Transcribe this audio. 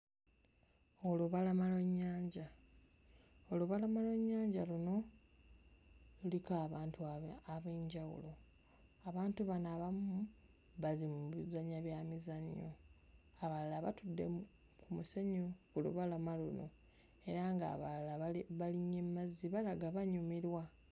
Olubalama lw'ennyanja. Olubalama lw'ennyanja luno luliko abantu aba... ab'enjawulo; abantu bano abamu bali mu kuzannya byamizannyo, abalala batudde mu musenyu ku lubalama luno era ng'abalala bali... balinnye mu mazzi, balaga banyumirwa.